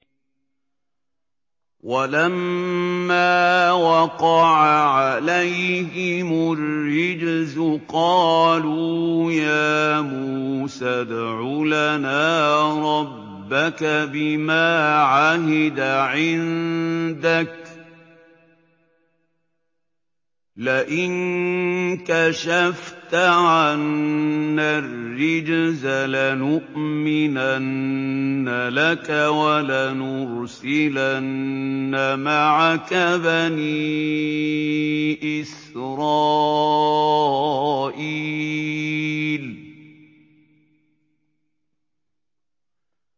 وَلَمَّا وَقَعَ عَلَيْهِمُ الرِّجْزُ قَالُوا يَا مُوسَى ادْعُ لَنَا رَبَّكَ بِمَا عَهِدَ عِندَكَ ۖ لَئِن كَشَفْتَ عَنَّا الرِّجْزَ لَنُؤْمِنَنَّ لَكَ وَلَنُرْسِلَنَّ مَعَكَ بَنِي إِسْرَائِيلَ